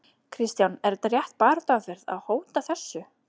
Kristján: Er þetta rétt baráttuaðferð, að hóta þessu?